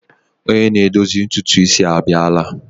Onye na-edozi ntutu isi a bịala.